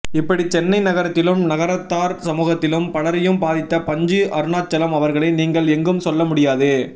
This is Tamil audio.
இப்படி சென்னை நகரத்திலும் நகரத்தார் சமூகத்திலும் பலரையும் பாதித்த பஞ்சு அருணாச்சலம் அவர்களே நீங்கள் எங்கும் செல்ல முடியாது